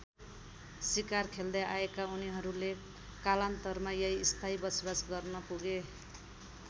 सिकार खेल्दै आएका उनीहरूले कालान्तरमा यही स्थायी बसोवास गर्न पुगे।